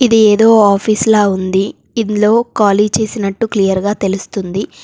ఇది ఏదో ఆఫీసులా ఉంది. ఇందులో ఖాళీ చేసినట్టు క్లియర్గా తెలుస్తుంది.